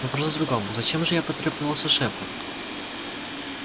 вопрос в другом зачем же я потребовался шефу